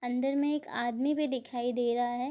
अंदर में एक आदमी भी दिखाई दे रहा है।